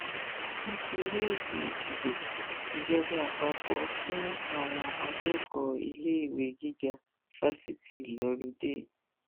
nítorí ètò ìdìbò ìjọba àpapọ fún àwọn akẹkọọ iléèwé gíga fásitì lóludé